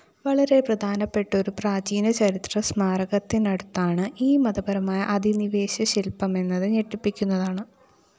വളരെ പ്രധാനപ്പെട്ടൊരു പ്രാചീനചരിത്രസ്മാരകത്തിനടുത്താണ് ഈ മതപരമായ അധിനിവേശശില്‍പമെന്നത് ഞെട്ടിപ്പിക്കുന്നതാണ്